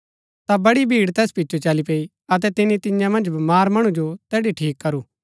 ता बड़ी भीड़ तैस पिचो चली पैई अतै तिनी तियां मन्ज बमार मणु जो तैड़ी ठीक करू